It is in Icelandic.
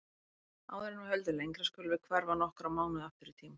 Áður en við höldum lengra skulum við hverfa nokkra mánuði aftur í tímann.